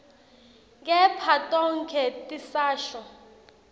kepha tonkhe tisasho